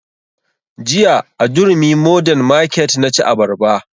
Jiya a durumi modern market na ci abarba